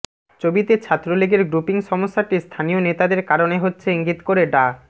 চবিতে ছাত্রলীগের গ্রুপিং সমস্যাটি স্থানীয় নেতাদের কারণে হচ্ছে ইঙ্গিত করে ডা